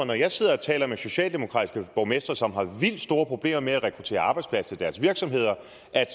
når jeg sidder og taler med socialdemokratiske borgmestre som har vildt store problemer med at rekruttere arbejdskraft til deres virksomheder